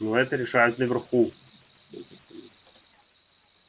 ну это решают наверху